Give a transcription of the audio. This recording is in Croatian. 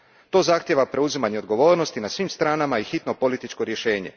To zahtijeva preuzimanje odgovornosti na svim stranama i hitno političko rješenje.